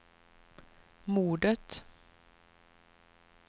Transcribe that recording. mordet